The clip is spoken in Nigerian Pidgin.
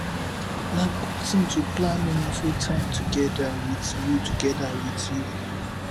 na good thing to plan meaningful time together with you together with you